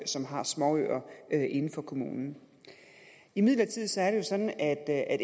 som har småøer inden for kommunen imidlertid er det jo sådan at